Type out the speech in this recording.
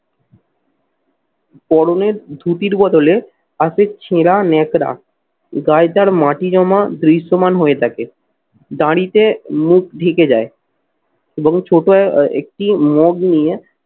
পরনের ধুতির বদলে আসে ছেঁড়া ন্যাকড়া। গায়ে তার মাটি জমা দৃশ্যমান হয়ে থাকে। দাড়িতে মুখ ঢেকে যায় এবং ছোট একটি মগ নিয়ে